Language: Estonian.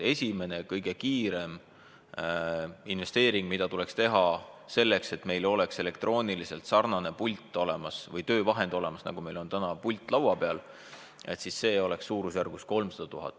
Esimene ja kõige kiirem investeering, mis tuleks teha selleks, et meil oleks elektrooniliselt olemas selline pult ehk töövahend, nagu meil on täna laua peal, maksaks suurusjärgus 300 000.